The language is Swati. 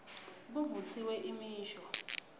kuvutsiwe imisho